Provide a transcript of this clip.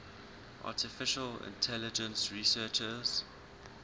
artificial intelligence researchers